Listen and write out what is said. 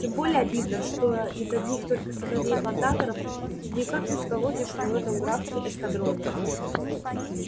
тем более обидно что из одних только сыновей плантаторов никак не сколотишь в этом графстве эскадрона